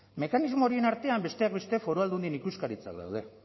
mekanismo horien artean besteak beste foru aldundien ikuskaritzak daude